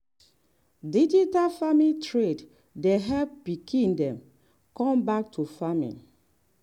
digital farming trend dey help pikin dem come back do farming.